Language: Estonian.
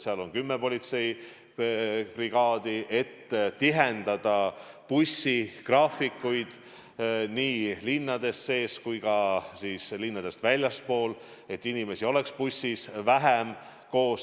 Väljas on kümme politseibrigaadi, et tihendada bussigraafikuid nii linnades sees kui ka linnadest väljaspool, et inimesi oleks bussis vähem koos.